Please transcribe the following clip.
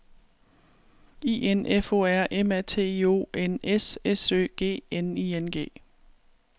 I N F O R M A T I O N S S Ø G N I N G